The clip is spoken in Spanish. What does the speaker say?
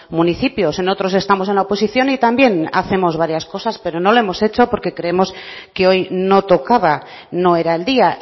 municipios en otros estamos en la oposición y también hacemos varias cosas pero no lo hemos hecho porque creemos que hoy no tocaba no era el día